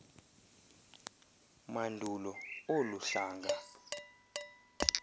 mandulo olu hlanga